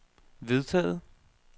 vedtaget